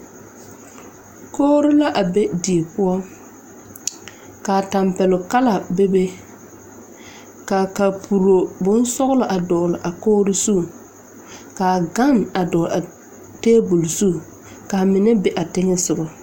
Kogri la a be die poɔ ka tɛmpɛloŋ kala bebe ka a kaporo bonsɔglɔ dɔgle a kogri zu ka a gane a dɔgle tabole zu ka a mine be a teŋɛ soga.